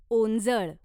ओंजळ